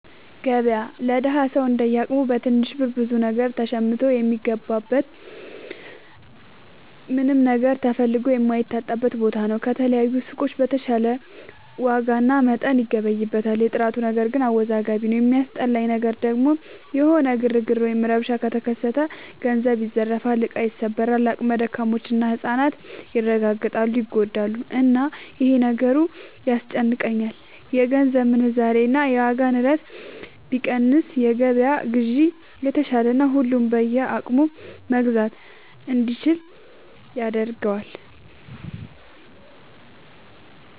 ገበያ ለደሀ ሰው እንደየ አቅሙ በትንሽ ብር ብዙ ነገር ሸምቶ የሚገባበት ምንም ነገር ተፈልጎ የማይታጣበት ቦታ ነው። ከተለያዩ ሱቆች በተሻለ ዋጋና መጠን ይገበይበታል። የጥራቱ ነገር ግን አወዛጋቢ ነው። የሚያስጠላኝ ነገር ደግሞ የሆነ ግርግር ወይም ረብሻ ከተከሰተ ገንዘብ ይዘረፋል፣ እቃ ይሰበራል፣ አቅመ ደካሞች እና ህፃናት ይረጋገጣሉ (ይጎዳሉ)፣እና ይሄ ነገሩ ያስጨንቀኛል። የገንዘብ ምንዛሬ እና የዋጋ ንረት ቢቀንስ የገበያ ግዢ የተሻለና ሁሉም በየአቅሙ መግዛት እንዲችል ያደርገዋል።